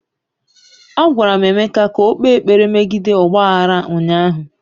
Agwara m Emeka ka o kpee ekpere megide ọgba aghara ụnyaahụ!